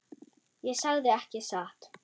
Ég sagði ekki satt.